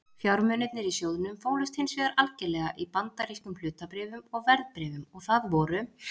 Fjármunirnir í sjóðnum fólust hins vegar algerlega í bandarískum hlutabréfum og verðbréfum og það voru